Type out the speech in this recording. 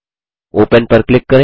open पर click करें